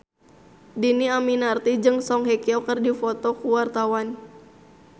Dhini Aminarti jeung Song Hye Kyo keur dipoto ku wartawan